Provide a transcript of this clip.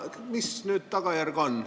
Mis tagajärg nüüd on?